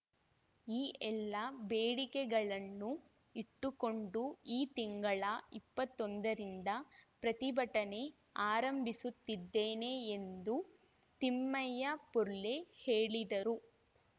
ಈ ಎಲ್ಲ ಬೇಡಿಕೆಗಳನ್ನು ಇಟ್ಟುಕೊಂಡು ಈ ತಿಂಗಳ ಇಪ್ಪತ್ತೊಂದರಿಂದ ಪ್ರತಿಭಟನೆ ಆರಂಭಿಸುತ್ತಿದ್ದೇನೆ ಎಂದು ತಿಮ್ಮಯ್ಯ ಪುರ್ಲೆ ಹೇಳಿದರು